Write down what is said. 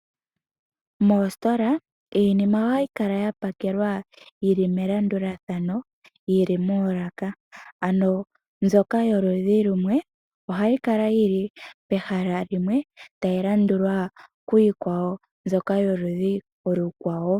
Moositola iinima ohayi kala ya pakelwa yili melandulathano yili moolaka, ano mbyoka yoludhi lumwe ohayi kala yili pehala limwe tayi landulwa kiikwawo mbyoka yoludhi olukwawo.